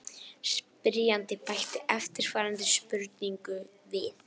Spyrjandi bætti eftirfarandi spurningu við: